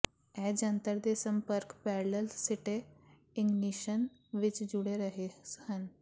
ਇਹ ਜੰਤਰ ਦੇ ਸੰਪਰਕ ਪੈਰਲਲ ਸਿੱਟੇ ਇਗਨੀਸ਼ਨ ਵਿਚ ਜੁੜੇ ਰਹੇ ਹਨ